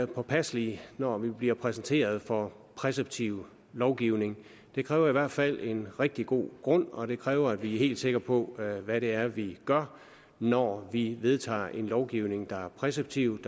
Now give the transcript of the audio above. påpasselige når vi bliver præsenteret for præceptiv lovgivning det kræver i hvert fald en rigtig god grund og det kræver at vi er helt sikker på hvad det er vi gør når vi vedtager en lovgivning der er præceptiv